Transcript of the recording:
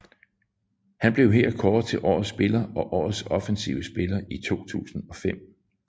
Han blev her kåret til Årets Spiller og Årets Offensive Spiller i 2005